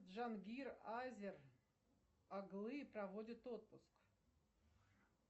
джангир азер оглы проводит отпуск